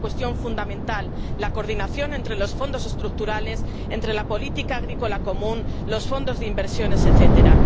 Es una cuestión fundamental la coordinación entre los Fondos Estructurales, entre la política agrícola común, los fondos de inversiones, etcétera.